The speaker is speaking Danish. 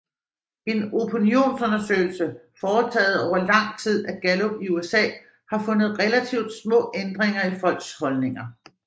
En opinionsundersøgelse foretaget over lang tid af Gallup i USA har fundet relativt små ændringer i folks holdninger